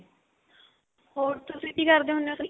ਹੋਰ ਤੁਸੀਂ ਕੀ ਕਰਦੇ ਹੁਣੇ ਓ